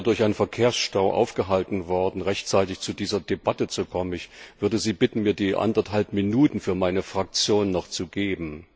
Ich bin leider durch einen Verkehrsstau aufgehalten worden und konnte nicht rechtzeitig zu dieser Debatte kommen. Ich würde Sie bitten, mir die anderthalb Minuten für meine Fraktion noch zu geben.